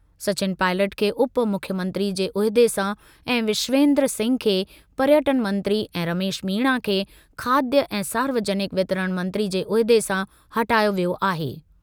सचिन पॉयलट खे उप मुख्यमंत्री जे उहिदे सां ऐं विश्वेन्द्र सिंह खे पर्यटन मंत्री ऐं रमेश मीणा खे खाद्य ऐं सार्वजनिक वितरण मंत्री जे उहिदे सां हटायो वियो आहे।